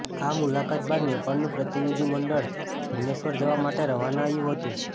આ મુલાકાત બાદ નેપાળનું પ્રતિનિધિ મંડળ ભૂવનેશ્વર જવા માટે રવાના યું હતું